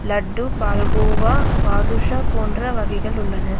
லட்டு பால்கோவா பாதுஷா போன்ற வகைகள் உள்ளன.